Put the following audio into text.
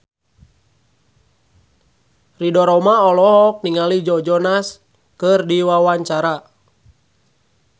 Ridho Roma olohok ningali Joe Jonas keur diwawancara